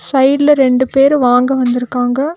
சைடுல ரெண்டு பேர் வாங்க வந்துருக்காங்க.